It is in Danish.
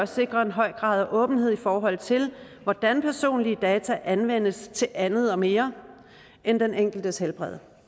sikre en høj grad af åbenhed i forhold til hvordan personlige data anvendes til andet og mere end den enkeltes helbred